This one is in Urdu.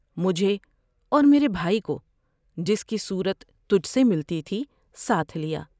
مجھے اور میرے بھائی کو جس کی صورت تجھ سے ملتی تھی ساتھ لیا ۔